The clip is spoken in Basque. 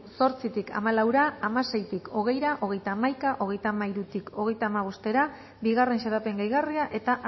zortzitik hamalaura hamaseitik hogeira hogeita hamaika hogeita hamairutik hogeita hamabostra bigarren xedapen gehigarria eta